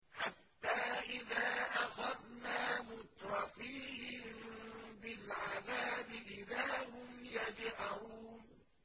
حَتَّىٰ إِذَا أَخَذْنَا مُتْرَفِيهِم بِالْعَذَابِ إِذَا هُمْ يَجْأَرُونَ